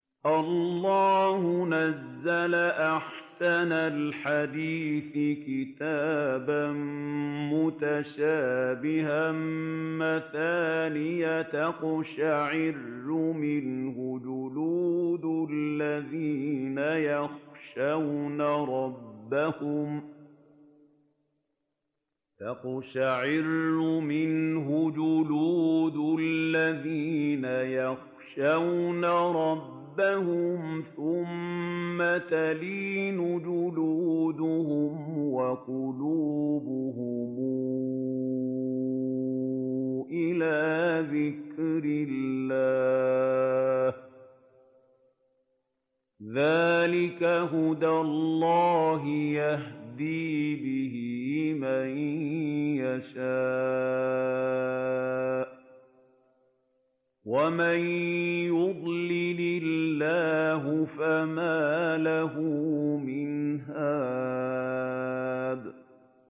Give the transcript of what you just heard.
اللَّهُ نَزَّلَ أَحْسَنَ الْحَدِيثِ كِتَابًا مُّتَشَابِهًا مَّثَانِيَ تَقْشَعِرُّ مِنْهُ جُلُودُ الَّذِينَ يَخْشَوْنَ رَبَّهُمْ ثُمَّ تَلِينُ جُلُودُهُمْ وَقُلُوبُهُمْ إِلَىٰ ذِكْرِ اللَّهِ ۚ ذَٰلِكَ هُدَى اللَّهِ يَهْدِي بِهِ مَن يَشَاءُ ۚ وَمَن يُضْلِلِ اللَّهُ فَمَا لَهُ مِنْ هَادٍ